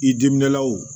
I diminenlaw